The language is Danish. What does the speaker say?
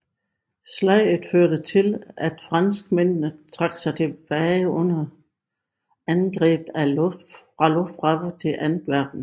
Slaget førte til at franskmændene trak sig tilbage under angreb fra Luftwaffe til Antwerpen